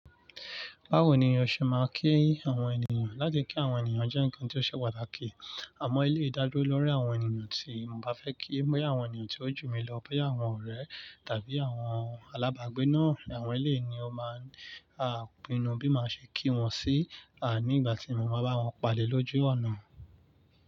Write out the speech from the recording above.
Bawo ni o ṣe máa ń kí àwọn ènìyàn? Lati kí àwọn ènìyàn jẹ́ ǹkan tí ó ṣe pàtàkì. Àmọ́ eleyii da le lórí àwọn ènìyàn tí mo bá fẹ́ kí, bóyá àwọn ènìyàn tí ó jù mí lọ, boya àwọn ọ̀rẹ́ tàbí àwọn alábàgbé náà, àwọn eléyii ni ni ó máa ń pinnu bí maa ṣe kí wọn sí ní ìgbà tí mo bá ba wọn pade l'ojú ọ̀nà.